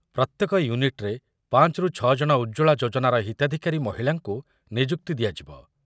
ପ୍ରତ୍ୟେକ ୟୁନିଟ୍‌ରେ ପାଞ୍ଚ ରୁ ଛଅ ଜଣ ଉଜ୍ଜ୍ବଳା ଯୋଜନାର ହିତାଧିକାରୀ ମହିଳାଙ୍କୁ ନିଯୁକ୍ତି ଦିଆଯିବ ।